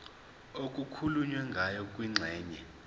okukhulunywe ngayo kwingxenye